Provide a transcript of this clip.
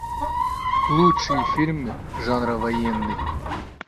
лучшие фильмы жанра военный